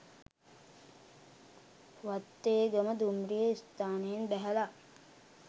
වත්තේගම දුම්රිය ස්ථානයෙන් බැහැල